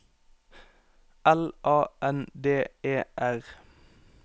L A N D E R